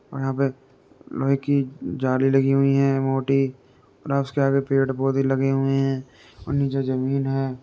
और यहाँ पे लोहे कि जाली लगी हुई है मोटी और उसके आगे पेड़ पौधे लगे हुए है और नीचे जमीन है।